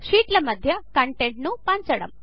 షీట్ల మధ్య కంటెంట్ను పంచడం